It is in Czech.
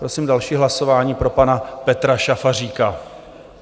Prosím další hlasování pro pana Petra Šafaříka.